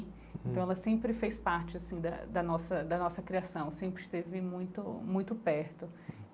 Então ela sempre fez parte assim da da nossa da nossa criação, sempre esteve muito muito perto.